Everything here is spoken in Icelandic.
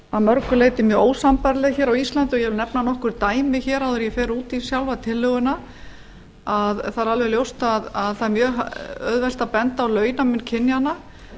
að mörgu leyti mjög ósambærileg hér á íslandi og ég vil nefna nokkur dæmi áður en ég fer út í sjálfa tillöguna það er alveg ljóst að það er auðvelt að benda á launamun kynjanna